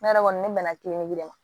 Ne yɛrɛ kɔni ne bɛna de ma